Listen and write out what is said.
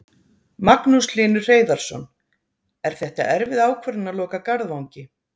Magnús Hlynur Hreiðarsson: Er þetta erfið ákvörðun að loka Garðvangi?